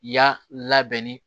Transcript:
Y'a labɛnni